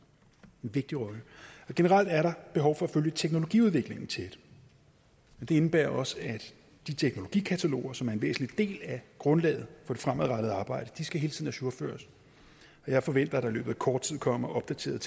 generelt er der behov for at følge teknologiudviklingen tæt men det indebærer også at de teknologikataloger som er en væsentlig del af grundlaget for det fremadrettede arbejde hele tiden skal ajourføres og jeg forventer at der i løbet af kort tid kommer opdaterede